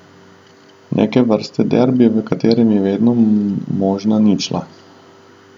Neke vrste derbi, v katerem je vedno možna ničla.